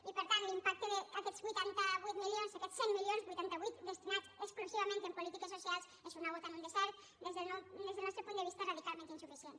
i per tant l’impacte d’aquests vuitanta vuit milions d’aquests cent milions vuitanta vuit destinats exclusivament a polítiques socials és una gota en un desert des del nostre punt de vista radicalment insuficient